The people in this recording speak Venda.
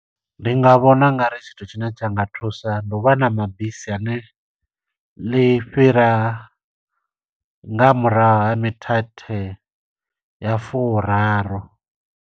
Ndi nga vhona ungari tshithu tshine tsha nga thusa, ndi u vha na mabisi ane ḽi fhira nga murahu ha mithethe ya furaru.